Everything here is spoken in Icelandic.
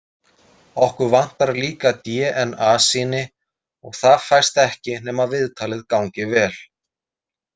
Okkur vantar líka dna- sýni og það fæst ekki nema viðtalið gangi vel.